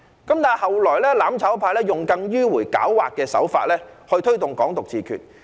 但是，後來"攬炒派"用更迂迴狡猾的手法，推動"港獨"自決。